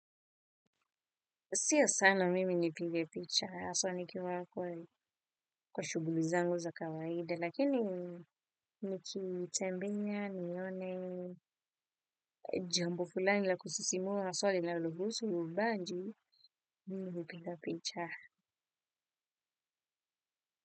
Sio sana mimi nipigepicha haswa nikiwa kwa shughuli zangu za kawaida lakini nikitembea nione jambo fulani la kusisimua haswa li la lohusu uubaji mimi hupigapicha.